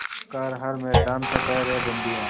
कर हर मैदान फ़तेह रे बंदेया